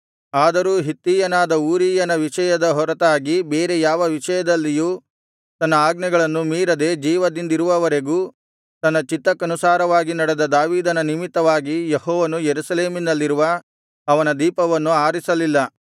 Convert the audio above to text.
ಆದರೂ ಹಿತ್ತಿಯನಾದ ಊರೀಯನ ವಿಷಯದ ಹೊರತಾಗಿ ಬೇರೆ ಯಾವ ವಿಷಯದಲ್ಲಿಯೂ ತನ್ನ ಆಜ್ಞೆಗಳನ್ನು ಮೀರದೆ ಜೀವದಿಂದಿರುವವರೆಗೂ ತನ್ನ ಚಿತ್ತಕ್ಕನುಸಾರವಾಗಿ ನಡೆದ ದಾವೀದನ ನಿಮಿತ್ತವಾಗಿ ಯೆಹೋವನು ಯೆರೂಸಲೇಮಿನಲ್ಲಿರುವ ಅವನ ದೀಪವನ್ನು ಆರಿಸಲಿಲ್ಲ